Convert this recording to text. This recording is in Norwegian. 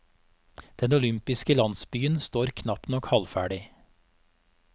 Den olympiske landsbyen står knapt nok halvferdig.